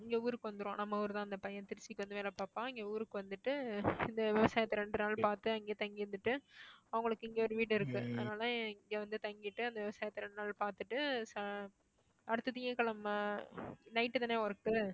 இங்க ஊருக்கு வந்திடுவான் நம்ம ஊர்தான் அந்த பையன் திருச்சிக்கு வந்து வேலை பார்ப்பான் இங்க ஊருக்கு வந்துட்டு இந்த விவசாயத்தை இரண்டு நாள் பார்த்து அங்கேயே தங்கியிருந்துட்டு அவங்களுக்கு இங்க ஒரு வீடு இருக்கு அதனால இங்க வந்து தங்கிட்டு அந்த விவசாயத்தை இரண்டு நாள் பார்த்துட்டு ச~ அடுத்த திங்கட்கிழமை night தானே work உ